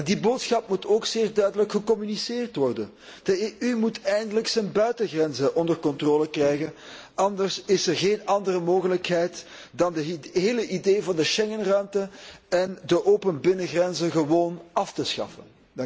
Die boodschap moet echter ook zeer duidelijk gecommuniceerd worden. De EU moet eindelijk zijn buitengrenzen onder controle krijgen, anders is er geen andere mogelijkheid dan de hele idee van de Schengenruimte en de open binnengrenzen gewoon af te schaffen.